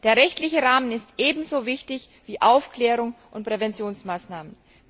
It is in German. Der rechtliche Rahmen ist ebenso wichtig wie Aufklärung und Präventionsmaßnahmen.